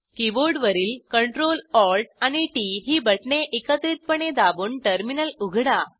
कीबोर्डवरील ctrlalt आणि T T ही बटणे एकत्रितपणे दाबून टर्मिनल उघडा